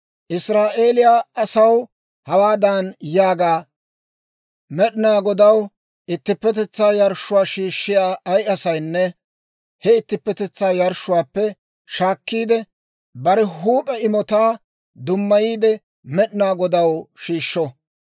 «Israa'eeliyaa asaw hawaadan yaaga; ‹Med'inaa Godaw ittippetetsaa yarshshuwaa shiishshiyaa ay asaynne he ittippetetsaa yarshshuwaappe shaakkiide, bare huup'e imotaa dummayiide Med'inaa Godaw shiishsho.